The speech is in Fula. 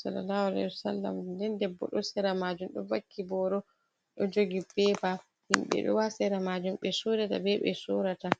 sallalahu alaihi wa sallamanden debbo ɗo sera majuum ɗo vakki boro ɗo jogi pepa himbe ɗo ha sera majuum ɓe sodata ɓe sorrata.